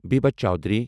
Bibha Chowdhury